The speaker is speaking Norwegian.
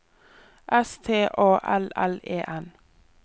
S T A L L E N